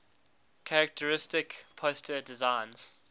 characteristic poster designs